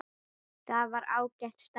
Það var ágætt starf.